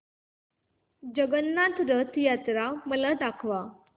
जगन्नाथ रथ यात्रा मला दाखवा